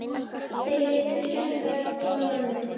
Þeir litu skelkaðir hvor á annan.